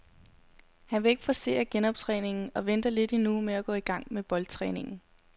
Han vil ikke forcere genoptræningen og venter lidt endnu med at gå i gang med boldtræningen.